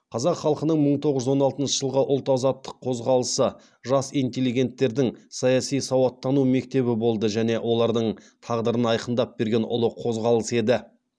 қазақ халқының мың тоғыз жүз он алтыншы жылғы ұлт азаттық қозғалысы жас интеллигенттердің саяси сауаттану мектебі болды және олардың тағдырын айқындап берген ұлы қозғалыс еді